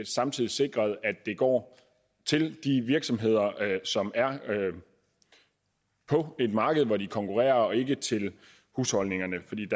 samtidig sikret at det går til de virksomheder som er på et marked hvor de konkurrerer og ikke til husholdningerne fordi